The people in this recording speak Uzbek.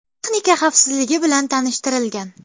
Texnika xavfsizligi bilan tanishtirilgan.